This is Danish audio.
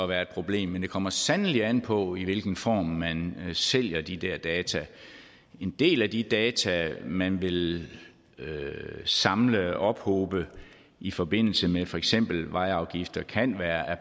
være et problem men det kommer sandelig an på i hvilken form man sælger de der data en del af de data man vil samle og ophobe i forbindelse med for eksempel vejafgifter kan være